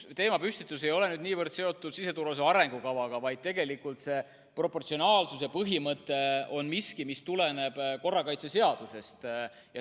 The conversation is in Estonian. See teemapüstitus ei ole niivõrd seotud siseturvalisuse arengukavaga, vaid tegelikult on proportsionaalsuse põhimõte miski, mis tuleneb korrakaitseseadusest.